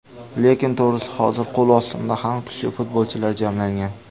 Lekin to‘g‘risi hozir qo‘l ostimda ham kuchli futbolchilar jamlangan.